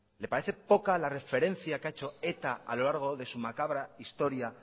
le parece poca la referencia que ha hecho eta a lo largo de su macabra historia